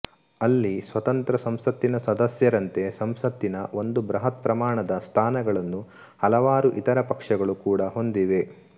ಅಲ್ಲಿ ಸ್ವತಂತ್ರ ಸಂಸತ್ತಿನ ಸದಸ್ಯರಂತೆ ಸಂಸತ್ತಿನ ಒಂದು ಬೃಹತ್ ಪ್ರಮಾಣದ ಸ್ಥಾನಗಳನ್ನು ಹಲವಾರು ಇತರ ಪಕ್ಷಗಳೂ ಕೂಡ ಹೊಂದಿವೆ